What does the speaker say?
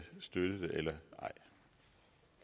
støtte det eller